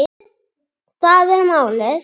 Það er málið